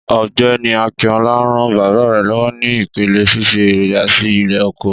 Ọ̀gbẹ́ni Akinọlá rán bàbá rè lọ́wọ́ ní ìpele fífi èròjà sí ilé oko